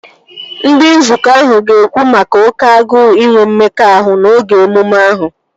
Ndị nzukọ ahụ ga-ekwu maka oké agụụ inwe mmekọahụ n'oge emume ahụ